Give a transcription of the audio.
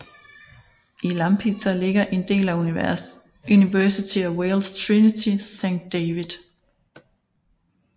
I Lampeter ligger en del af University of Wales Trinity Saint David